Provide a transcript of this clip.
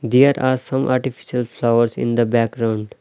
there are some artificial flowers in the background.